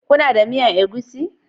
Kuna da miyan egusi?